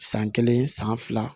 San kelen san fila